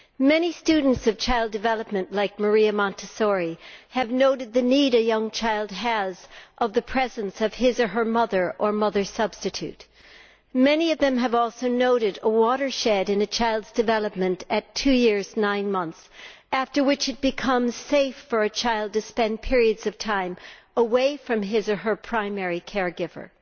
Many students of child development, like Maria Montessori, have noted the need a young child has for the presence of his or her mother, or mother substitute. Many of them have also noted a watershed in a child's development at two years and nine months, after which it becomes safe for a child to spend periods of time away from his or her primary care giver.